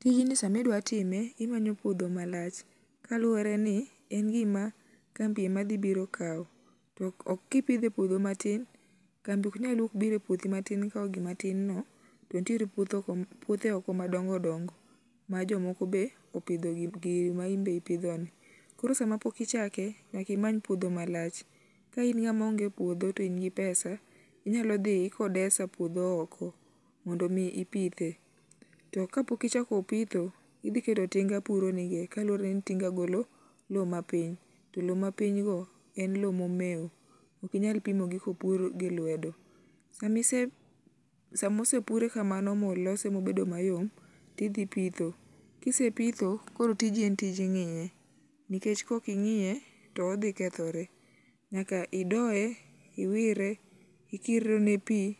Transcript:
Tijni sama idwa time imanyo puodho malach. Kaluwore ni en gima kambi ema dhi biro kawo. To kipidho e puodho matin, kambi ok nyal wuok biro e puothi matin kawo gima tin no to nitie puothe oko madongo dongo majomoko be opidho gik ma in be ipidhoni. Koro sama pok ichake nyaka imany podho malach. Ka in ng'ama onge puodho to in gi pesa, inyalo dhi kodesa puodho ooko mondo mi ipithe. To kapok ichako pitho, idhi kelo tinga puroni iye kaluwore ni tinga giolo lowo mapiny to lowo mapiny go en lowo momew ok inyal pimo gi kopur gi lwedo. Samose pur kamano molose mobedo mayom to idhi ipitho to ka isepitho koro tiji en tij ng'iye nikech kaok ing'iye to odhi kethjore. Nyaka idoye, iwire, ikirone pi